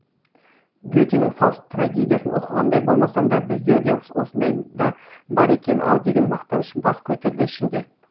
ге тенің фауст трагедиясын оқығандай болмасам да бізде де осындай да бар екен ау деген мақтаныш бас көтерді ішімде